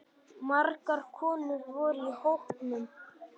Margar konur voru í hópnum